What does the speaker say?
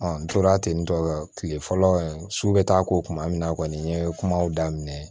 n tora ten tɔ kile fɔlɔ su bɛ taa ko kuma min na kɔni n ye kumaw daminɛ